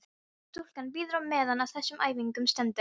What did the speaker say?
Stúlkan bíður á meðan á þessum æfingum stendur.